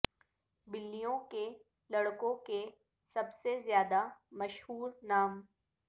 بلیوں کے لڑکوں کے سب سے زیادہ مشہور نام